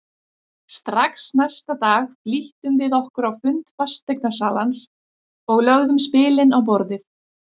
Strax næsta dag flýttum við okkur á fund fasteignasalans og lögðum spilin á borðið.